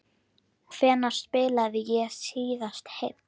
Hvenær spilaði ég síðast heill?